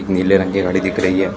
नीले रंग की घड़ी दिख रही है।